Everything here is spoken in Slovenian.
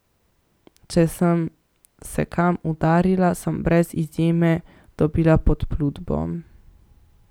Če sem se kam udarila, sem brez izjeme dobila podplutbo.